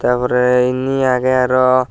taar pore indi agey aro.